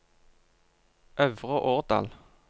Øvre Årdal